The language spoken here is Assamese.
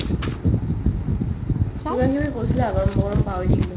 কিবা কিবি কৈছিলে আগত মই পাহৰি থাকিলো ।